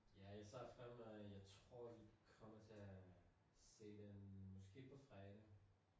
Ja jeg ser fremad jeg tror I kommer til at se den måske på fredag